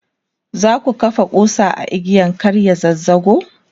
zaka kafa kusa a igiyan ga kar ya zazzago?